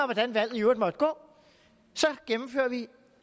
hvordan valget i øvrigt måtte gå så gennemfører vi